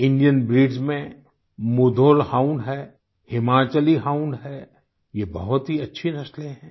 Indian breeds में Mudhol hound हैं Himachali hound है ये बहुत ही अच्छी नस्लें हैं